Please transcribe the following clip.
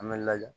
An bɛ laja